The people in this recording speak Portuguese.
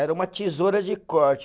Era uma tesoura de corte.